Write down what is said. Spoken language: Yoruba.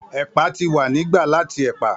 Ẹ̀pà ti wa ni gba lati ẹ̀pà.